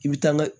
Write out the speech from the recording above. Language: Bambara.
I bi taa